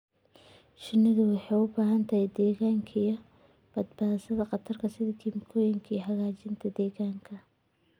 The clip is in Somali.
Shinnidu waxay u baahan tahay deegaan ka badbaadsan khataraha sida kiimikooyinka iyo xajiinta deegaanka.